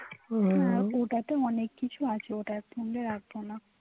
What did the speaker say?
হ্যাঁ ওটা তে অনেক কিছু আছে ওটার সঙ্গে রাখবো না